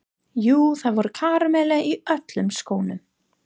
Jú, það voru karamellur í öllum skónum.